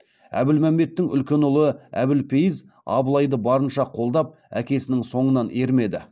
әбілмәмбеттің үлкен ұлы әбілпейіз абылайды барынша қолдап әкесінің соңынан ермеді